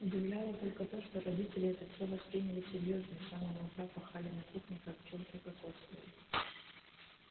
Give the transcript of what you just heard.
удивляло только то что родители это все восприняли серьёзно и с самого утра пахали на кухне как пчёлки кокосовые